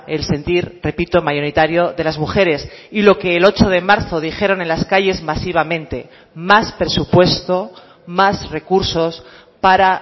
el sentir repito mayoritario de las mujeres y lo que el ocho de marzo dijeron en las calles masivamente más presupuesto más recursos para